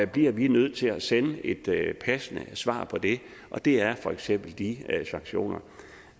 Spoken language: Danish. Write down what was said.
bliver vi nødt til at sende et passende svar på det og det er for eksempel de sanktioner